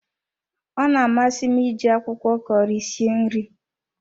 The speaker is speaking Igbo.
Ọ na amasi m iji akwụkwọ Kọri sie nri